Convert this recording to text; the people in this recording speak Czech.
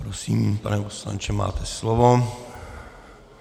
Prosím, pane poslanče, máte slovo.